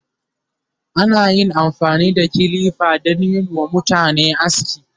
ana amfani da kilifa danyi WA mutane aski